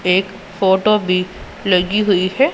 एक फोटो भी लगी हुई है।